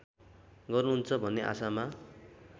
गर्नुहुन्छ भन्ने आशामा